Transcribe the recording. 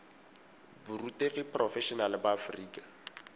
borutegi porofe enale ba aforika